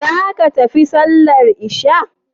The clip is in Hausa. Zaku tafi sallar isha'i?